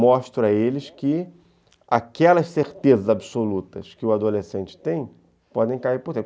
mostra a eles que aquelas certezas absolutas que o adolescente tem podem cair por dentro.